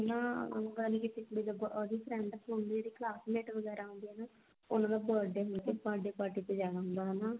ਨਾ ਮਤਲਬ ਕੀ ਇੱਕ ਕੁੜੀ ਨਾ ਉਹਦੀ friend ਉਸਦੀ classmate ਵਗੈਰਾ ਹੁੰਦੀ ਹੈ ਨਾ or ਉਹਦਾ ਨਾ birthday ਹੁੰਦਾ ਉਹਦ birthday party ਤੇ ਜਾਂਦਾ ਹੁੰਦਾ ਹਨਾ